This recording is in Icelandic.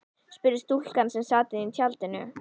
spurði stúlka sem sat inní tjaldinu.